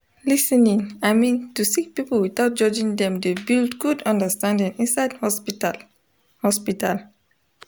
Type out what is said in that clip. lis ten ing i min to sik pipul witout judging dem dey build gud understanding inside hosptital hosptital